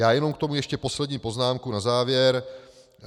Já jenom k tomu ještě poslední poznámku na závěr.